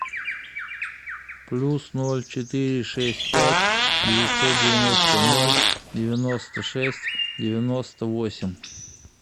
плюс ноль четыре шесть пять девятьсот девяносто ноль девяносто шесть девяносто восемь